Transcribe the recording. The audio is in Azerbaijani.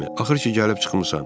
Axır ki gəlib çıxmısan?